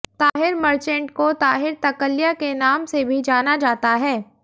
ताहिर मर्चेंट को ताहिर तकल्या के नाम से भी जाना जाता है